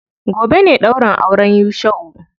Gobe ne ɗaurin auren Yusha'u.